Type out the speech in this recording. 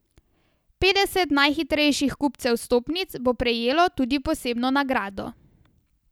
Petdeset najhitrejših kupcev vstopnic bo prejelo tudi posebno nagrado.